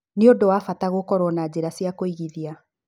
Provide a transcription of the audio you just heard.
Nĩ ũndũ wa bata gũkorũo na njĩra cia kũigithia.